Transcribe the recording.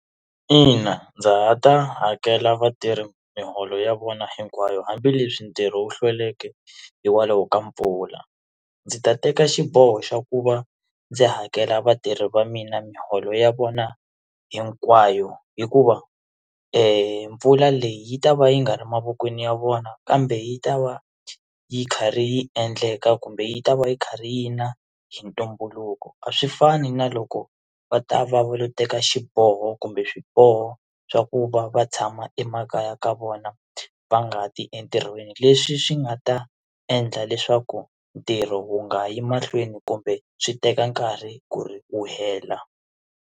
Ina, ndza ha ta hakela vatirhi miholo ya vona hinkwayo hambileswi ntirho wu hlweleke hikwalaho ka mpfula ndzi ta teka xiboho xa ku va ndzi hakela vatirhi va mina miholo ya vona hinkwayo hikuva mpfula leyi yi ta va yi nga ri mavokweni ya vona kambe yi ta va yi karhi yi endleka kumbe yi ta va yi kha ri yi na hi ntumbuluko a swi fani na loko va ta va va lo teka xiboho kumbe swiboho swa ku va va kha tshama emakaya ka vona va nga ti entirhweni leswi swi nga ta endla leswaku ntirho wu nga yi mahlweni kumbe swi teka nkarhi ku ri wu hela.